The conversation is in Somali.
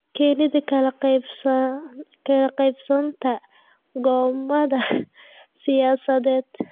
Keenida kala qaybsanaanta go'aamada siyaasadeed.